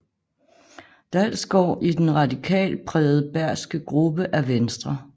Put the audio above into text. Dalsgaard i den radikalt prægede bergske gruppe af Venstre